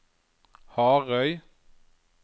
Harøy